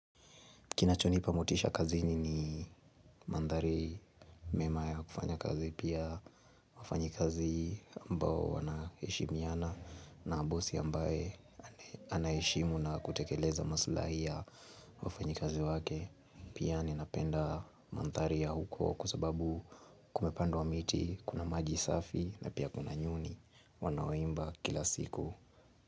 Kinachonipa motisha kazini ni mandhari mema ya kufanya kazi pia wafanyikazi ambao wanahishimiana na bosi ambaye anaheshimu na kutekeleza masulahi ya wafanyikazi wake. Pia ninapenda mandari ya huko kusababu kumepandwa miti kuna maji safi na pia kuna nyoni wanaoimba kila siku.